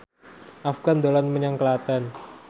Afgan dolan menyang Klaten